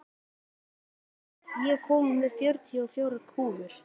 Ír, ég kom með fjörutíu og fjórar húfur!